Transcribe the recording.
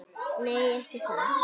Nei, ekki það!